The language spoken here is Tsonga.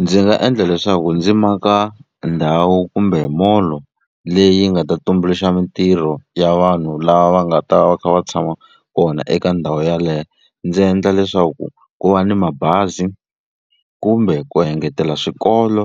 Ndzi nga endla leswaku ndzi maka ndhawu kumbe mall leyi yi nga ta tumbuluxa mitirho ya vanhu lava nga ta va kha va tshama kona eka ndhawu yaleyo. Ndzi endla leswaku ku va ni mabazi kumbe ku engetela swikolo